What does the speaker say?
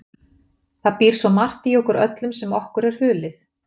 Það býr svo margt í okkur öllum sem okkur er hulið.